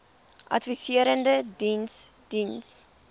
adviserende diens diens